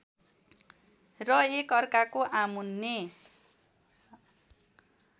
र एकअर्काको आमुन्ने